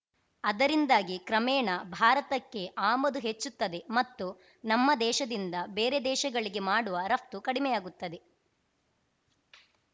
ಅದರಿಂದಾಗಿ ಕ್ರಮೇಣ ಭಾರತಕ್ಕೆ ಆಮದು ಹೆಚ್ಚುತ್ತದೆ ಮತ್ತು ನಮ್ಮ ದೇಶದಿಂದ ಬೇರೆ ದೇಶಗಳಿಗೆ ಮಾಡುವ ರಫ್ತು ಕಡಿಮೆಯಾಗುತ್ತದೆ